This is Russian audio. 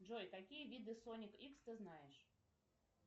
джой какие виды сони икс ты знаешь